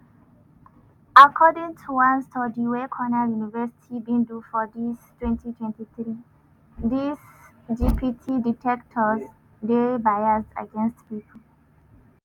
according to one study wey cornell university bin do for dis twenty twenty three dis gpt detectors dey biased against pipo